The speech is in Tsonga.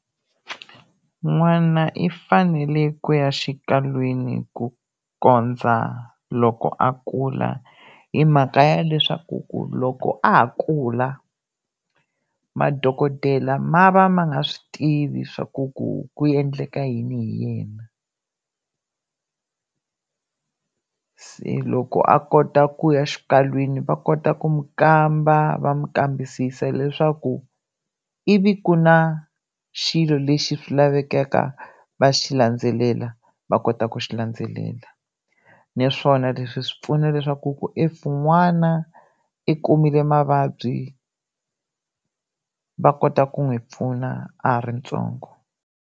N'wana i fanele ku ya xikalwini ku kondza loko a kula hi mhaka ya leswaku ku loko a ha kula madokodela ma va ma nga swi tivi swa ku ku ku endleka yini hi yena se loko a kota ku ya xikalwini va kota ku mu kamba va mu kambisisa leswaku ivi ku na xilo lexi swi laveka va xi landzelela va kota ku xi landzelela naswona leswi swi pfuna leswaku ku if n'wana i kumile mavabyi va kota ku n'wi pfuna a ha ri ntsongo.